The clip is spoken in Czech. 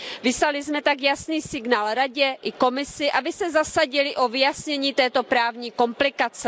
Vyslali jsme tak jasný signál Radě i Komisi, aby se zasadily o vyjasnění této právní komplikace.